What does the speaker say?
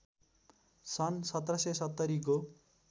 सन् १७७० को